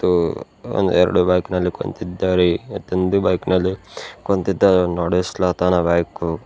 ಮತ್ತು ಒಂದ್ ಎರಡು ಬೈಕ್ ನಲ್ಲಿ ಕುಂತಿದ್ದಾರೆ ಮತ್ತೊಂದು ಬೈಕ್ ನಲ್ಲಿ ಕುಂತಿದವ್ ನಡಿಸ್ಲತ್ತನ ಬೈಕು .